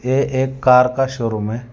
यह एक कार का शोरूम है।